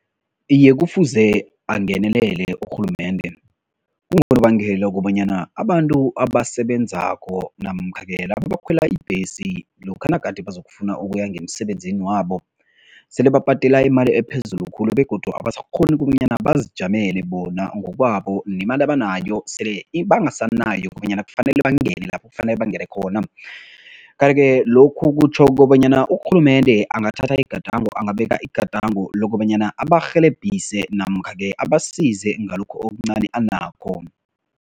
Iye, kufuze angenelele urhulumende. Kungonobangela wokobanyana abantu abasebenzako namkha-ke laba abakhwela ibhesi lokha nagade bazokufuna ukuya ngemisebenzini wabo, sele babhadela imali ephezulu khulu begodu abasakghoni kobanyana bazijamele bona ngokwabo nemali abanayo sele bangasanayo kobanyana kufanele bangene lapho kufanele bangene khona. Kanti-ke lokhu kutjho kobanyana urhulumende angathatha igadango, angabeka igadango lokobanyana abarhelebhise namkha-ke abasize ngalokho okuncani anakho.